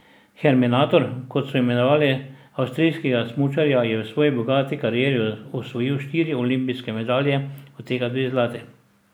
Herminator, kot so imenovali avstrijskega smučarja, je v svoji bogati karieri osvojil štiri olimpijske medalje, od tega dve zlati.